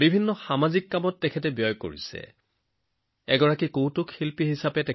এজন ধেমেলীয়া কমেডিয়ানে তেওঁৰ কথাৰে সকলোকে হাঁহিবলৈ বাধ্য কৰে